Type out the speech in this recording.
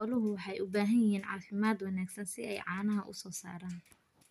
Xooluhu waxay u baahan yihiin caafimaad wanaagsan si ay caanaha u soo saaraan.